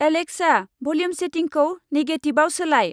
Alexa, volume सेटिंखौ नेगेटिभाव सोलाय।